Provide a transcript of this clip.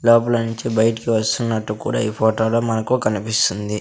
లోపల నుంచి బయటకు వస్తున్నట్టు కూడా ఈ ఫోటోలో మనకు కనిపిస్తుంది.